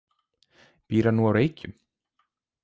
Býr hann nú á Reykjum?